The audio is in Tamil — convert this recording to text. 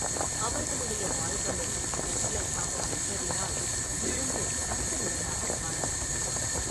அவர்களுடைய வாய்களும் வெற்றிலைப் பாக்கு மென்றதினால் சிவந்து இரத்த நிறமாகக் காணப்பட்டன.